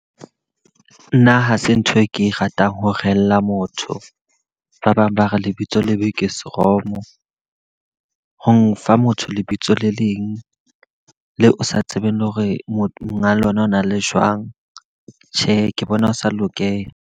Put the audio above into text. Nna hase ntho e ke ratang ho rehella motho. Ba bang ba re lebitso lebe ke seromo. Ho nfa motho lebitso le leng, le o sa tsebeng le hore monga lona o na le jwang. Tjhe, ke bona ho sa lokela.